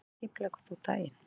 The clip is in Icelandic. Hvernig skipuleggur þú daginn?